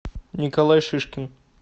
николай шишкин